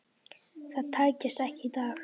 Það tækist ekki í dag.